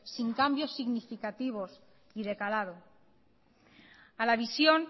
sin cambios significativos y de calado a la visión